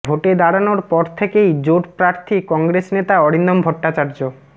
ভোটে দাড়ানোর পর থেকেই জোট প্রার্থী কংগ্রেস নেতা অরিন্দম ভট্টাচার্য